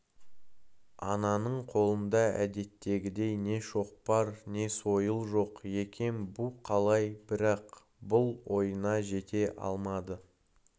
ананың қолында әдеттегідей не шоқпар не сойыл жоқ екен бұ қалай бірақ бұл ойына жете алмады